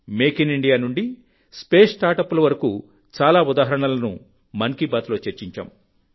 make in India నుండి space స్టార్టప్ల వరకు చాలా ఉదాహరణలను మన్ కీ బాత్లో చర్చించాం